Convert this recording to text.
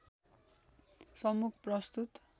सम्मुख प्रस्तुत